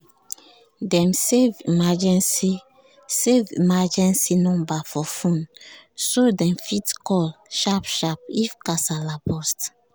dem save emergency save emergency number for phone so dem fit call sharp-sharp if kasala burst.